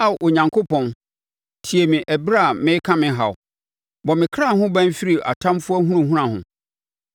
Ao Onyankopɔn, tie me ɛberɛ a mereka me haw; bɔ me ɔkra ho ban firi ɔtamfoɔ ahunahuna ho.